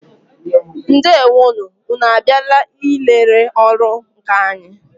Ndewo nụ! Ụnụ a bịala ị lere ọrụ nkà anyị?